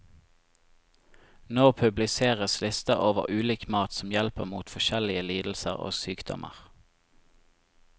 Nå publiseres lister over ulik mat som hjelper mot forskjellige lidelser og sykdommer.